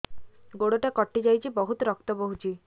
ଗୋଡ଼ଟା କଟି ଯାଇଛି ବହୁତ ରକ୍ତ ବହୁଛି